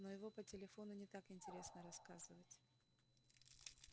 но его по телефону не так интересно рассказывать